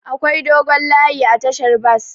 Akwai dogon layi a tashar bas.